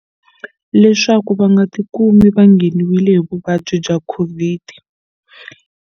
Leswaku va nga ti kumi va ngheniwile hi vuvabyi bya COVID.